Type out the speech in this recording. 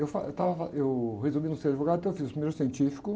Eu fa, eu estava fa, eu resolvi não ser advogado, então eu fiz o primeiro científico.